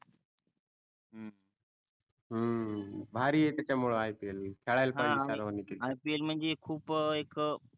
भारी आहे त्याच्या मूळे IPL खेड्याला पाहिजे सर्वानी cricket हा आणि IPL म्हणजे खूप एक